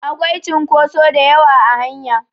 Akwai cunkotso da yawa a hanya